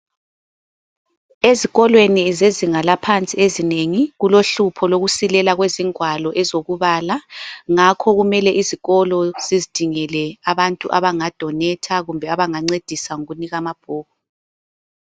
Ezikolweni zezinga laphansi ezinengi kulohlupho lokusilela kwezingwalo ezokubala ngakho kumele izikolo zizidingela abantu abanga donator kumbe ebangancedisa ngokunika amabhuku.